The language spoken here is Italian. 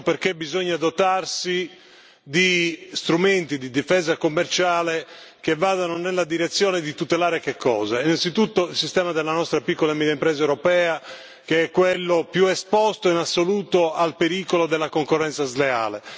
Infatti, bisogna dotarsi di strumenti di difesa commerciale che vadano nella direzione di tutelare innanzitutto il sistema della nostra piccola e media impresa europea, che è quello più esposto in assoluto al pericolo della concorrenza sleale.